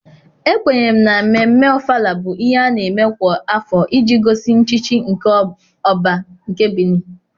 Ekwenyere m na Ememme ọfala bụ ihe a na-eme kwa afọ iji gosi nchichi nke ỌBÁ nke Benin.